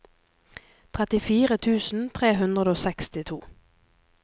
trettifire tusen tre hundre og sekstito